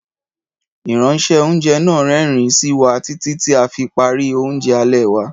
Ìránṣẹ́- oúnjẹ náà rẹ́rìn-ín sí wa títí tí a fi parí oúnjẹ alẹ́ wa.